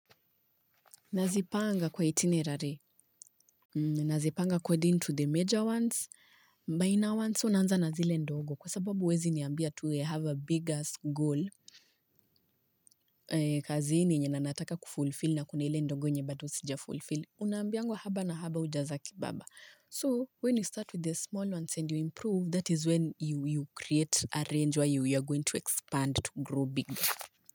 Nazipanga kwa itinerary nazipanga according to the major ones minor ones unanza na zile ndogo kwa sababu huwezi niambia to have a bigger goal kazi ni yenye nataka kufulfil na kunele ndogo nye batu sija fulfill unambiangwa haba na haba hujaza kibaba so when you start with the small ones and you improve that is when you create a range where you are going to expand to grow bigger.